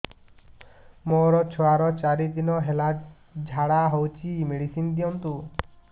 ମୋର ଛୁଆର ଚାରି ଦିନ ହେଲା ଝାଡା ହଉଚି ମେଡିସିନ ଦିଅନ୍ତୁ